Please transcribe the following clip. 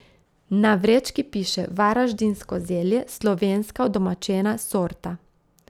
Na vrečki piše varaždinsko zelje, slovenska udomačena sorta ...